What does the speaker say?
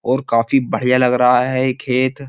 और काफी बढ़िया लग रहा है ये खेत --